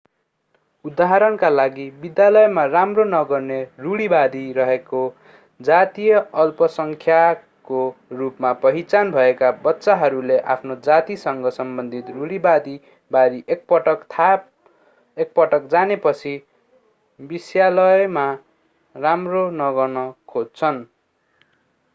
उदाहरणका लागि विद्यालयमा राम्रो नगर्ने रुढीवादी रहेको जातीय अल्पसङ्ख्यकको रूपमा पहिचान भएका बच्चाहरूले आफ्नो जातिसँग सम्बन्धित रुढीवादी बारे एकपटक जानेपछि विस्यालयमा राम्रो नगर्न खोज्छन्